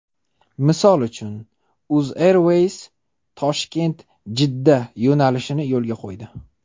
Misol uchun, UzAirways ToshkentJiddaToshkent yo‘nalishini yo‘lga qo‘ydi.